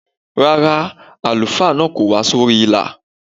Rárá, àlùfáà náà kò wá sí orí ìlà.